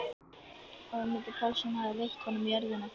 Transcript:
Ögmundur Pálsson hafði veitt honum jörðina.